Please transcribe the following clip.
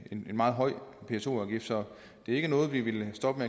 en meget høj pso afgift så det er ikke noget vi vil stoppe